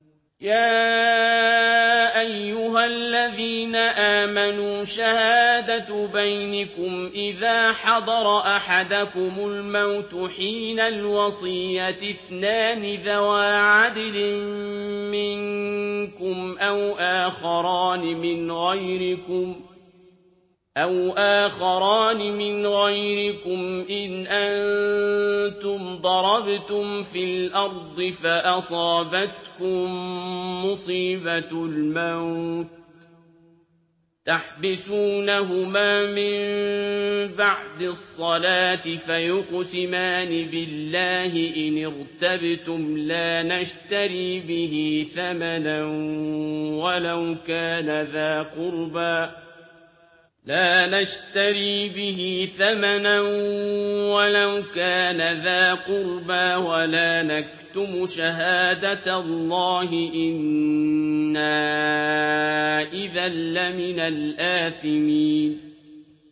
يَا أَيُّهَا الَّذِينَ آمَنُوا شَهَادَةُ بَيْنِكُمْ إِذَا حَضَرَ أَحَدَكُمُ الْمَوْتُ حِينَ الْوَصِيَّةِ اثْنَانِ ذَوَا عَدْلٍ مِّنكُمْ أَوْ آخَرَانِ مِنْ غَيْرِكُمْ إِنْ أَنتُمْ ضَرَبْتُمْ فِي الْأَرْضِ فَأَصَابَتْكُم مُّصِيبَةُ الْمَوْتِ ۚ تَحْبِسُونَهُمَا مِن بَعْدِ الصَّلَاةِ فَيُقْسِمَانِ بِاللَّهِ إِنِ ارْتَبْتُمْ لَا نَشْتَرِي بِهِ ثَمَنًا وَلَوْ كَانَ ذَا قُرْبَىٰ ۙ وَلَا نَكْتُمُ شَهَادَةَ اللَّهِ إِنَّا إِذًا لَّمِنَ الْآثِمِينَ